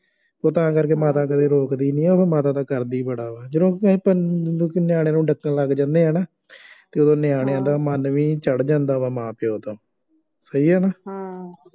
ਉਹ ਤਾਂ ਕਰਕੇ ਮਾਤਾ ਕਦੇ ਰੋਕਦੀ ਨਹੀਂ ਉਹਨੂੰ, ਮਾਤਾ ਦਾ ਕਰਦੀ ਬੜਾ ਵਾ, ਜਦੋਂ ਕਿਸੇ ਪਿੰਡ ਦੇ ਨਿਆਣੇ ਨੂੰ ਡੱਕਣ ਲੱਗ ਜਾਂਦੇ ਆ ਨਾ ਅਤੇ ਉਦੋਂ ਨਿਆਣਿਆਂ ਦਾ ਮਨ ਵੀ ਚੜ੍ਹ ਜਾਂਦਾ ਵਾ ਮਾਂ ਪਿਉ ਦਾ ਸਹੀ ਹੈ ਨਾ